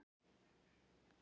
Hörður, hringdu í Kristþór.